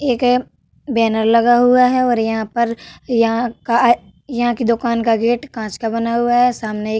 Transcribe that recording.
एक ए बैनर लगा हुआ है और यहां पर यहाँ का यहाँ की दुकान का गेट कांच का बना हुआ है। सामने एक --